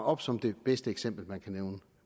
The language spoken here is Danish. op som det bedste eksempel man kan nævne